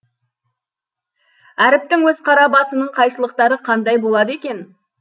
әріптің өз қара басының қайшылықтары қандай болады екен